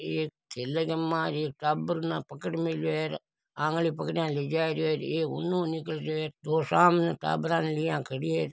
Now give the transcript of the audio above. एक थैले के मा एक टाबर ने पकड़ मेल्यो है र आंगली पकड़या ले जा रहियो है एक उन निकल रहियो है दो सामने टाबरा ने लिया खड़ी है।